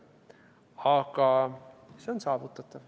Aga see on saavutatav.